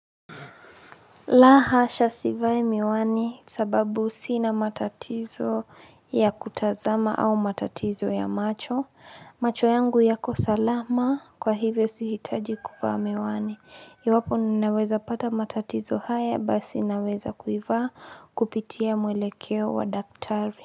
La hasha sivai miwani sababu sina matatizo ya kutazama au matatizo ya macho. Macho yangu yako salama kwa hivyo sihitaji kufaa miwani. Iwapo ninaweza pata matatizo haya basi naweza kuivaa kupitia mwelekeo wa daktari.